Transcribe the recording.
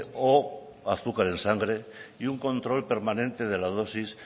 o azúcar en sangre y un control permanente de la dosis